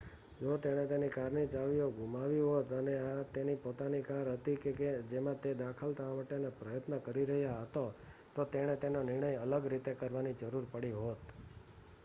જો તેણે તેની કારની ચાવીઓ ગુમાવી હોત અને આ તેની પોતાની કાર હતી કે જેમાં તે દાખલ થવા માટેનો પ્રયત્ન કરી રહ્યો હતો તો તેણે તેનો નિર્ણય અલગ રીતે કરવાની જરૂર પડી હોત